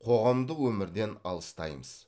қоғамдық өмірден алыстаймыз